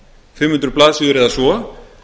fimm hundruð blaðsíður eða svo